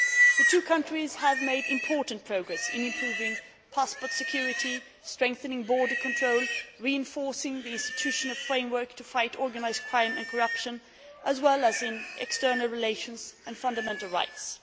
The two countries have made important progress in improving passport security, strengthening border control, reinforcing the institutional framework to fight organised crime and corruption, as well as in external relations and fundamental rights.